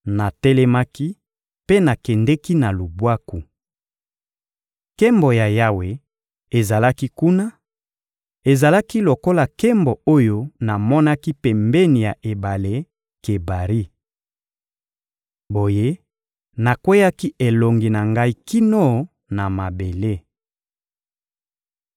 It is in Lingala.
Natelemaki mpe nakendeki na lubwaku. Nkembo ya Yawe ezalaki kuna: ezalaki lokola nkembo oyo namonaki pembeni ya ebale Kebari. Boye nakweyaki elongi na ngai kino na mabele.